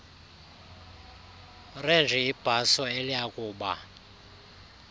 renji ibhaso eliyakuba